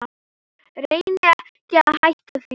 Reyni ekki að hætta því.